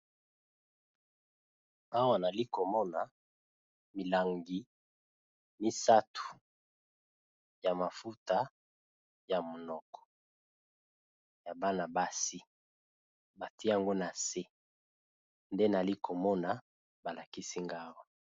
Awa nazali komona milangi misatu ya mafuta yamonoko ya bana basi batiye yango nase nde nazali komona awa